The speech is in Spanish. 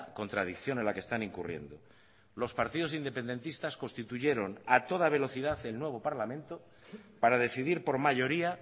contradicción en la que están incurriendo los partidos independentistas constituyeron a toda velocidad el nuevo parlamento para decidir por mayoría